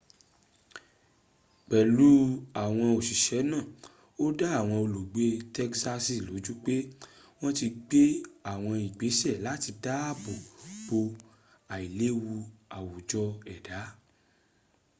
pelu awon osise naa o da awon olugbe tegsasi loju pe won ti n gbe awon igbese lati daabo bo ailewu awujo eda